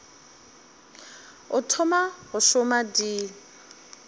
o thoma go šoma di